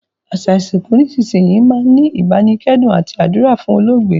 Àsa ìsìnkù nísinsìnyi máa n ni ìbánikẹ́dùn àti àdúrà fún olóògbé